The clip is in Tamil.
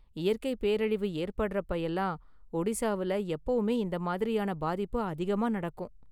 இயற்கை பேரழிவு ஏற்படுறப்போ எல்லாம் ஒடிஷால எப்பவுமே இந்த மாதிரியான பாதிப்பு அதிகமா நடக்கும்.